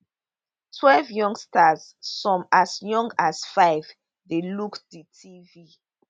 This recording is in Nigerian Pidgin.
twelve youngsters some as young as five dey look di tv